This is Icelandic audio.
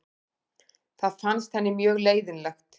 Það fannst henni mjög leiðinlegt.